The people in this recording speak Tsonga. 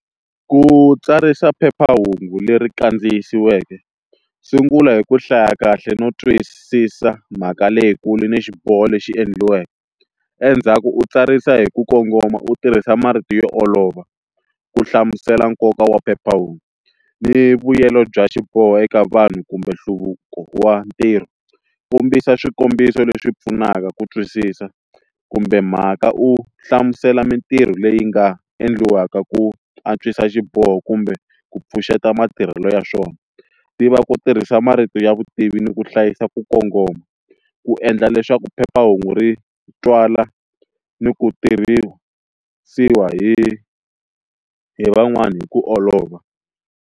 Ku tsarisa phephahungu leri kandziyisiweke sungula hi ku hlaya kahle no twisisa mhaka leyikulu ni xiboho lexi endliweke, endzhaku u tsarisa hi ku kongoma u tirhisa marito yo olova u hlamusela nkoka wa phephahungu ni vuyelo bya xiboho eka vanhu kumbe nhluvuko wa ntirho kombisa swikombiso leswi pfunaka ku twisisa kumbe mhaka u hlamusela mintirho leyi nga endliwaka ku antswisa xiboho kumbe ku pfuxeta matirhelo ya swona tiva ku tirhisa marito ya vutivi ni ku hlayisa ku kongoma ku endla leswaku phephahungu ri twala ni ku tirhisiwa hi hi van'wani hi ku olova.